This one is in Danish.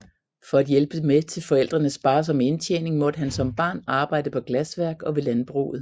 For at hjælpe med til forældrenes sparsomme indtjening måtte han som barn arbejde på glasværk og ved landbruget